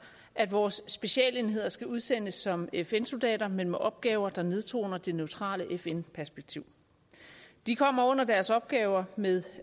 at vores specialenheder skal udsendes som fn soldater men med opgaver der nedtoner det neutrale fn perspektiv de kommer under deres opgaver med